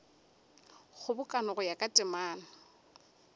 kgobokano go ya ka temana